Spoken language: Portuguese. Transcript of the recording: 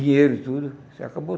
dinheiro, tudo, se acabou